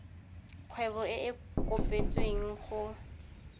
kgwebo e e kopetsweng go